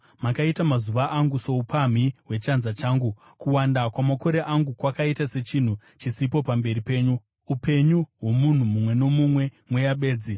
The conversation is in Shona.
Makaita mazuva angu soupamhi hwechanza changu; kuwanda kwamakore angu kwakaita sechinhu chisipo pamberi penyu. Upenyu hwomunhu mumwe nomumwe mweya bedzi.